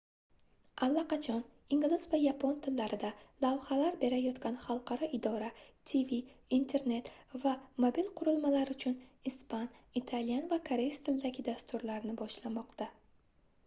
allaqachon ingliz va yapon tillarida lavhalar berayotgan хalqaro idora tv internet va mobil qurilmalar uchun ispan italyan va koreys tilidagi dasturlarni boshlamoqda